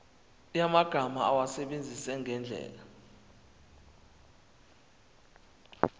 yamagama awasebenzise ngendlela